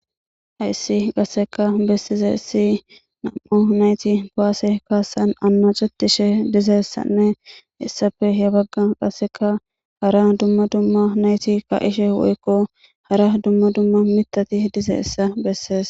Hays qaseka besizays nam"u nayt kuwase kasan anacetishe dizaysanne . Hesappeka qaseka hara dumma dumma nayt ka'ishe woykko Dumma dumma mithat dizaysa beses.